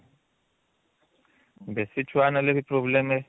ବେଶୀ ଛୁଆ ନେଲେ ବି problem